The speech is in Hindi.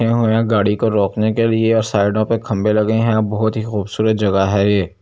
गाड़ी को रोकने के लिए और साइडों पे खंबे लगे है बहुत ही खूबसूरत जगह है ये ।